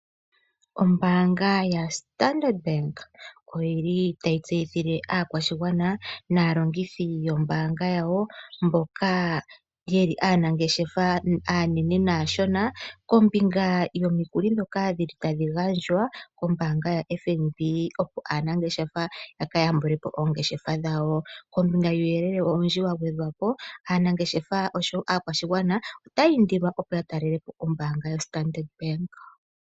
Ombaanga yaStandard Bank otayi tseyithile aakwashigwana naalongithi yawo mboka ye li aanangeshefa aanene naashona kombinga yomikuli ndhoka tadhi gandjwa kombaanga yaStandard, opo aanangeshefa ya ka yambule po oongeshefa dhawo. Kombinga yuuyelele owundji wa gwedhwa po aanangeshefa oshowo aakwashigwana otaya indilwa opo ya talele po ombaanga ya Standard Bank.